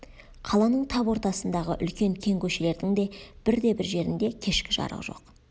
қаланың тап ортасындағы үлкен кең көшелердің де бірде-бір жерінде кешкі жарық жоқ